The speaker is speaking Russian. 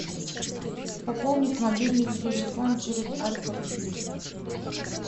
пополнить мобильный телефон через альфа клик